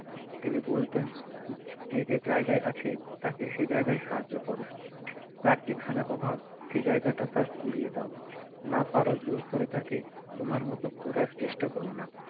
তিনি বলতেন যে যে জায়গায় আছে তাকে সে জায়গায় সাহায্য করো তার যেখানে অভাব সেই জায়গা টা তার ফুরিয়ে দাও না পারো জোর করে তাকে তোমার মত করার চেষ্টা করো না